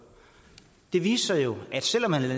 det viste sig jo at selv om man